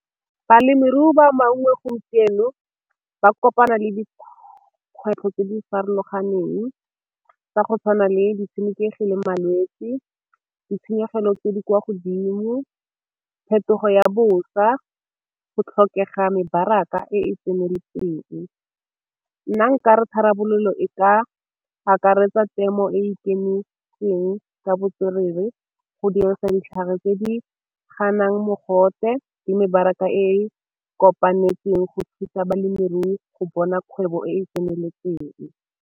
Balemirui ba maungo gompieno ba kopana le dikgwetlho tse di farologaneng tsa go tshwana le ditshenekegi le malwetse, ditshenyegelo tse di kwa godimo, phetogo ya bosa, go tlhokega mebaraka e e tseneletseng. Nna nkare tharabololo e ka akaretsa temo e e ikemetseng ka botswerere go dirisa ditlhare tse di ganang mogote le mebaraka e kopanetseng go thusa balemirui go bona kgwebo e e tseneletseng.